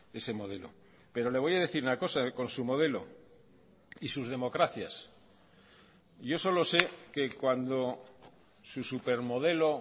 ese modelo pero le voy a decir una cosa con su modelo y sus democracias yo solo sé que cuando su supermodelo